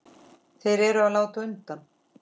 Þeir eru að láta undan.